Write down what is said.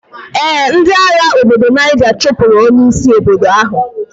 Ee, ndi agha ndi obodo Niger chupur onye isi obodo ahu.